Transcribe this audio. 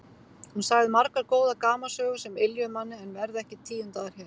Hún sagði margar góðar gamansögur sem yljuðu manni en verða ekki tíundaðar hér.